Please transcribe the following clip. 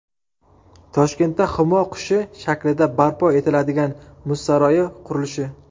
Toshkentda Humo qushi shaklida barpo etiladigan muz saroyi qurilishi .